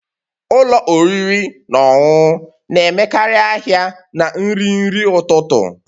Ụlọ oriri na ọṅụṅụ na-emekarị ahịa na nri nri ụtụtụ